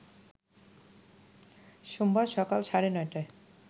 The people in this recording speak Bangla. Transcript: সোমবার সকাল সাড়ে ৯টায়